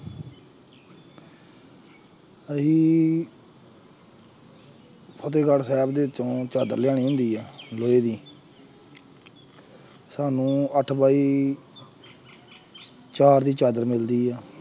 ਅਸੀਂ ਫਤਿਹਗੜ੍ਹ ਸਾਹਿਬ ਦੇ ਵਿੱਚੋਂ ਚਾਦਰ ਲਿਆਉਣੀ ਹੁੰਦੀ ਹੈ ਲੋਹੇ ਦੀ ਸਾਨੂੰ ਅੱਠ ਬਾਈ ਚਾਰ ਦੀ ਚਾਦਰ ਮਿਲਦੀ ਹੈ।